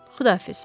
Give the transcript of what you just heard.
Xudahafiz.